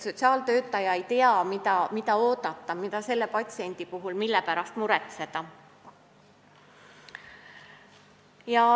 Sotsiaaltöötaja ei tea, mida oodata, mille pärast patsiendi puhul muretseda.